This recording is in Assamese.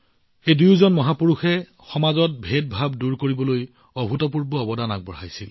এই দুয়োজন মহাপুৰুষে সমাজৰ পৰা বৈষম্য দূৰ কৰিবলৈ অভূতপূৰ্ব অৱদান আগবঢ়াইছিল